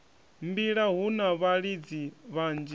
mbila hu na vhalidzi vhanzhi